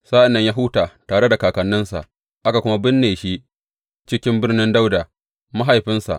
Sa’an nan ya huta tare da kakanninsa, aka kuma binne shi cikin birnin Dawuda mahaifinsa.